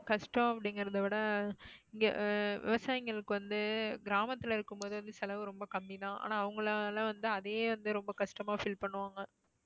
கஷ்டம் அப்படிங்கறத விட இங்க ஆஹ் விவசாயிங்களுக்கு வந்து கிராமத்துல இருக்கும்போது வந்து செலவு ரொம்ப கம்மி தான் ஆனா அவங்களால வந்து அதையே வந்து ரொம்ப கஷ்டமா feel பண்ணுவாங்க.